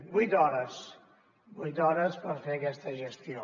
vuit hores vuit hores per fer aquesta gestió